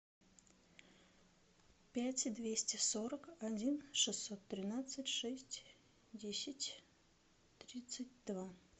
пять двести сорок один шестьсот тринадцать шесть десять тридцать два